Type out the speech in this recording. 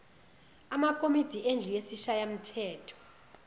amakomidi endlu yesishayamthetho